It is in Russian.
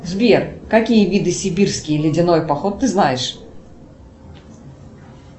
сбер какие виды сибирский ледяной поход ты знаешь